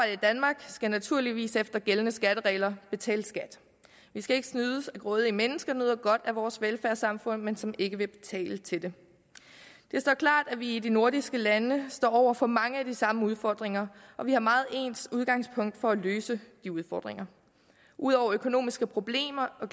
i danmark skal naturligvis efter gældende skatteregler betale skat vi skal ikke snydes af grådige mennesker der nyder godt af vores velfærdssamfund men som ikke vil betale til det det står klart at vi i de nordiske lande står over for mange af de samme udfordringer og vi har meget ens udgangspunkter for at løse de udfordringer udover økonomiske problemer og